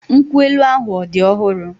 Nkwu elu# ahụ ọ̀ dị ọhụrụ?